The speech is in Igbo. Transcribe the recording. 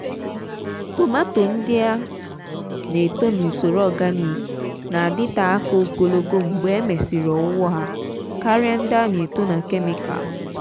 tomááto ndị a n'eto n'usoro organik n'adịte aka ogologo mgbe e mesịrị owuwọ ha karịa ndị a na-eto na kemikal.